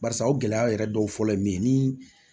Barisa o gɛlɛya yɛrɛ dɔw fɔlɔ ye min ye ni